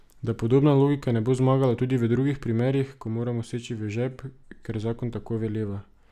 Da podobna logika ne bo zmagala tudi v drugih primerih, ko moramo seči v žep, ker zakon tako veleva.